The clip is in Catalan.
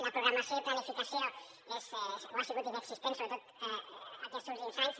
la programació i planificació són o han sigut inexistents sobretot aquests últims anys